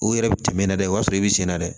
O yɛrɛ bɛ tɛmɛ n'a ye dɛ o y'a sɔrɔ i bɛ senna dɛ